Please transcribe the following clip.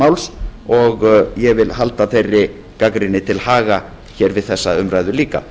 máls og ég vil halda þeirri gagnrýni til haga hér við þessa umræðu líka